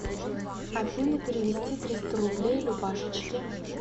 афина перевести триста рублей любашечке